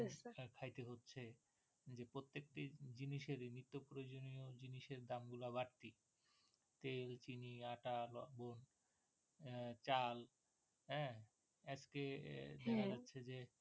খাইতে হচ্ছে যে প্রত্যেকটি জিনিসের নিত্যপ্রয়োজনীয় জিনিসের দামগুলা বাড়তি তেল, চিনি, আটা বলুন চাল আহ আজকে দেখা যাচ্ছে যে